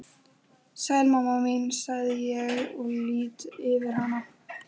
Sæl mamma mín, segi ég og lýt yfir hana.